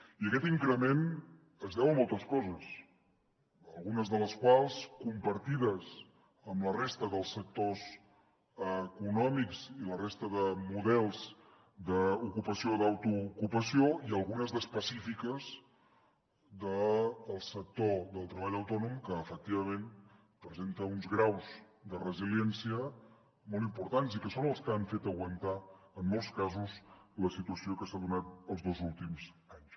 i aquest increment es deu a moltes coses algunes de les quals compartides amb la resta dels sectors econòmics i la resta de models d’ocupació o d’autoocupació i algunes d’específiques del sector del treball autònom que efectivament presenta uns graus de resiliència molt importants i que són els que han fet aguantar en molts casos la situació que s’ha donat els dos últims anys